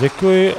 Děkuji.